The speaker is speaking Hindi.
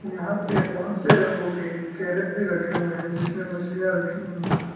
यहां पे बहुत से रंगों के कैरेट भी रखे हुए हैं जिसमें मछलियां रखी हुई है।